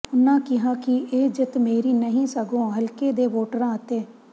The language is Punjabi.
ਉਨ੍ਹਾਂ ਕਿਹਾ ਕਿ ਇਹ ਜਿੱਤ ਮੇਰੀ ਨਹੀਂ ਸਗੋਂ ਹਲਕੇ ਦੇ ਵੋਟਰਾਂ ਅਤੇ